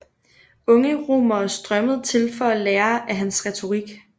Unge romere strømmede til for at lære af hans retorik